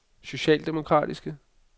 socialdemokratiske